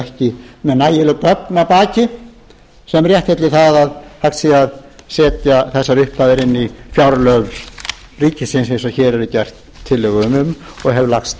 ekki með nægileg gögn að baki sem réttlæti það að hægt sé að setja þessar upphæðir inn í fjárlög ríkisins eins og hér er gerð tillaga um og hef lagst